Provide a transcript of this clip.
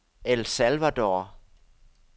El Salvador